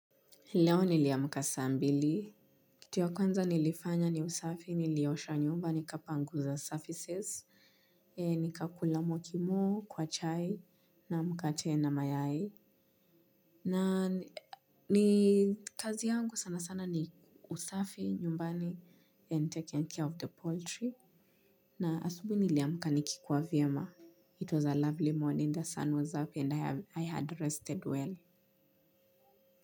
Leo niliamka saa mbili. Kitu ya kwanza nilifanya ni usafi, nilioshwa nyumba, nikapanguza surfaces. Nikakula mokimo, kwa chai, na mkate na mayai. Na ni kazi yangu sana sana ni usafi nyumbani and taking care of the poultry. Na asubuhi niliamka nikikuwa vyema. It was a lovely morning, the sun was up and I had rested well.